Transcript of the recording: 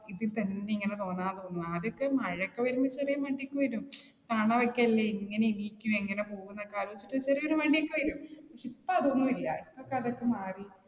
ഇതിപ്പ എന്ത് ഇങ്ങനെ തോന്നുവാ. ആദ്യമൊക്കെ മഴയൊക്കെ വരമ്പ ചെറിയൊരു മടി ഒക്കെ വരും. എങ്ങനെ എണീക്കും, എങ്ങനെ പോകും എന്നൊക്കെ ആലോചിച്ചിട്ട് ചെറിയൊരു മടി ഒക്കെ വരും. പക്ഷേ ഇപ്പൊ അതൊന്നുമില്ല ഇപ്പൊക്കെ അതൊക്കെ മാറി